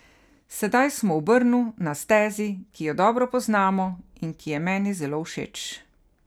Sedaj smo v Brnu, na stezi, ki jo dobro poznamo in ki je meni zelo všeč.